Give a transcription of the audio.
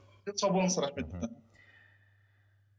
сау болыңыз рахмет